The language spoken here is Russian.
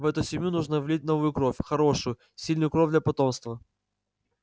в эту семью нужно влить новую кровь хорошую сильную кровь для потомства